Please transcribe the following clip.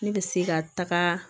Ne bɛ se ka taga